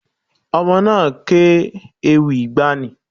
Ọmọ náà ké ewì ìgbàanì.